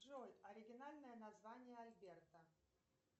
джой оригинальное название альберта